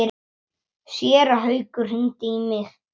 Séra Haukur hringdi í mig.